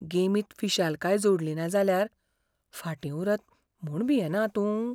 गेमींत फिशालकाय जोडलिना जाल्यार फाटीं उरत म्हूण भियेना तूं?